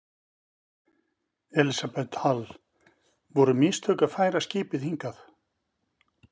Elísabet Hall: Voru mistök að færa skipið hingað?